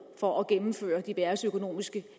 for at gennemføre diverse økonomiske